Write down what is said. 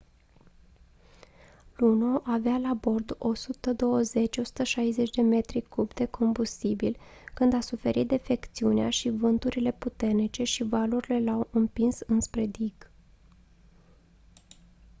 luno avea la bord 120-160 de metri cubi de combustibil când a suferit defecțiunea și vânturile puternice și valurile l-au împins înspre dig